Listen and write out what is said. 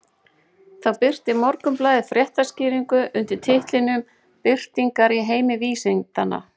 Þá birti Morgunblaðið fréttaskýringu undir titlinum Byltingar í heimi vísindanna.